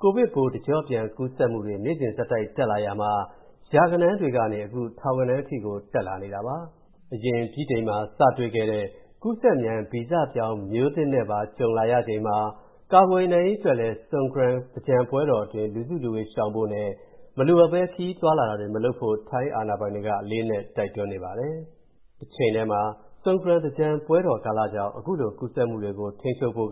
ကိုဗစ်ပိုး တကျော့ပြန်ကူးစက်မှုတွေ နေ့စဉ်ဆက်တိုက်တက်လာရာမှာ ရာဂဏန်းတွေကနေ အခုထောင်ဂဏန်းအထက်ထိကို ဖြစ်လာနေပါတယ်။ အရင်ဗြိတိန်မှာစတွေ့ခဲ့တဲ့ ကူးစက်မြန်ဗီဇပြောင်း ပိုးမျိုးသစ်နဲ့ပါ ကြုံလာရချိန် ကာကွယ်နိုင်ရေးအတွက်လည်း Songkran သင်္ကြန်ပွဲတော်အတွင်း လူစုလူဝေးရှောင်ဖို့နဲ့ မလိုအပ်ဘဲ ခရီးသွားလာတာတွေမလုပ်ဖို့ ထိုင်းအာဏာပိုင်တွေက အလေးအနက် တိုက်တွန်းနေပါတယ်။ တချိန်ထဲမှာ၊Songkran သင်္ကြန်ပွဲတော်ကာလကြောင့် ခုလိုကူးစက်မှုတွေထိန်းချုပ်ဖို့